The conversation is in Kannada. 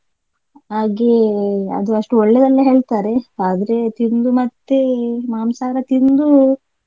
ಹಾಗೇ ಅದು ಅಷ್ಟು ಒಳ್ಳೆದಲ್ಲ ಹೇಳ್ತಾರೆ ಆದ್ರೆ ತಿಂದು ಮತ್ತೆ ಮಾಂಸಹಾರ ತಿಂದು.